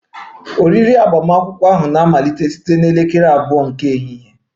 Oriri agbamakwụkwọ na-amalite site na elekere abụọ nke ehihie